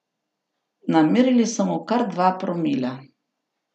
Namerili so mu kar dva promila!